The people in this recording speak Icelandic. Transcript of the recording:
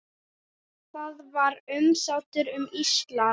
Það var umsátur um Ísland.